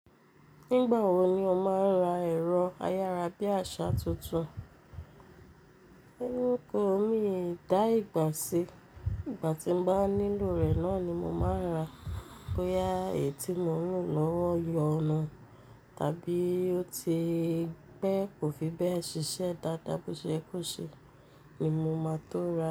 Nígbà wo ni o máa ń ra ẹ̀rọ ayárabíàṣá tuntun? Hun ko, míi dà ìgbà sí, ìgbà tí mo bá nílò rẹ̀ náà ni mo máa ń rà á. Bóyá èyí tí mo n lò lọ́wọ́ yọnu tàbí ó ti pe kò fi bẹ́ẹ̀ ṣiṣẹ́ dáadáa bó ṣe é kó ṣe ni mo máa tó ra á.